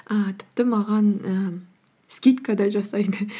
ііі тіпті маған ііі скидка да жасайды